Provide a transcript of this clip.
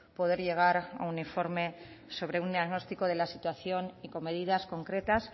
poder llegar a un informe sobre un diagnóstico de la situación y con medidas concretas